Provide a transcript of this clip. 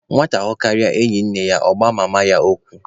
Nwata hụkarịa enyi nne ya, ọ gbuo ya mma ekwu.